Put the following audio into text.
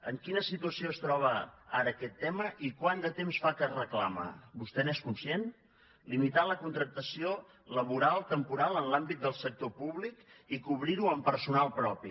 en quina situació es troba ara aquest tema i quant de temps fa que es reclama vostè n’és conscient limitar la contractació laboral temporal en l’àmbit del sector públic i cobrir ho amb personal propi